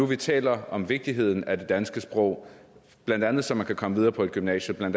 vi taler om vigtigheden af det danske sprog blandt andet så man kan komme videre på et gymnasium